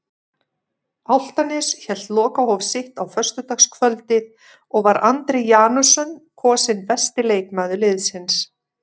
Álftanes hélt lokahóf sitt á föstudagskvöldið og var Andri Janusson kosinn besti leikmaður liðsins.